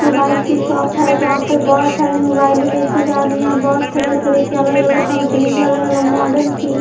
Mobile की shop है जहाँ पे बहुत सारी मोबाइलें बेंची जा रही हैं बहुत तरह-तरह के अलग-अलग कंपनी के अलग-अलग मॉडल की।